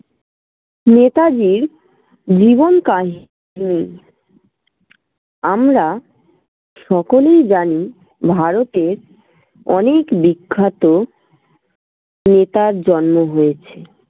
নেতাজির জীবনকাল আমরা সকলেই জানি ভারতের অনেক বিখ্যাত নেতার জন্ম হয়েছে।